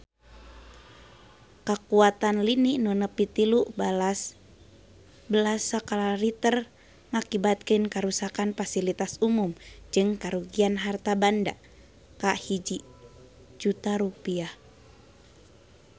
Kakuatan lini nu nepi tilu belas skala Richter ngakibatkeun karuksakan pasilitas umum jeung karugian harta banda nepi ka 1 juta rupiah